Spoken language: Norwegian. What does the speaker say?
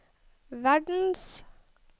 verdens